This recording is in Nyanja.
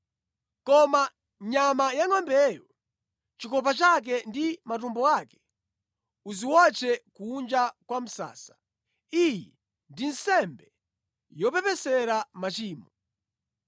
Koma nyama yangʼombeyo, chikopa chake ndi matumbo ake uziwotche kunja kwa msasa. Iyi ndi nsembe yopepesera machimo.